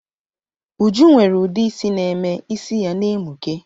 Uju nwere udeisi na-eme is ya na-emuke